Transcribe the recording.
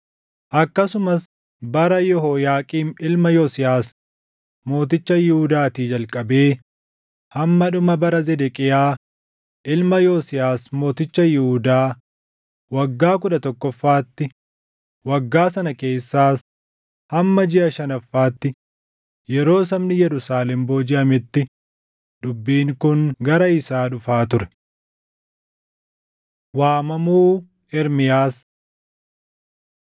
akkasumas bara Yehooyaaqiim ilma Yosiyaas mooticha Yihuudaatii jalqabee hamma dhuma bara Zedeqiyaa ilma Yosiyaas mooticha Yihuudaa waggaa kudha tokkoffaatti waggaa sana keessaas hamma jiʼa shanaffaatti, yeroo sabni Yerusaalem boojiʼametti dubbiin kun gara isaa dhufaa ture. Waamamuu Ermiyaas